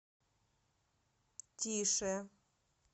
тише